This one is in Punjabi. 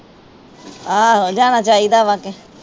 ਆਹੋ ਜਾਣਾ ਚਾਹੀਦਾ ਵ ਕੇ।